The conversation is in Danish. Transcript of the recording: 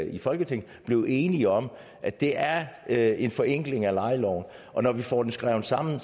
i folketinget blevet enige om at det er er en forenkling af lejeloven og når vi får det skrevet sammen